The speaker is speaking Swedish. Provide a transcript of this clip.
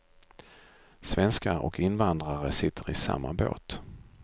Svenskar och invandrare sitter i samma båt.